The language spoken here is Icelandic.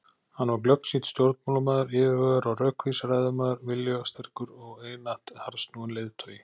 Hann var glöggsýnn stjórnmálamaður, yfirvegaður og rökvís ræðumaður, viljasterkur og einatt harðsnúinn leiðtogi.